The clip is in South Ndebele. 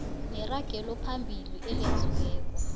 neragelo phambili elenziweko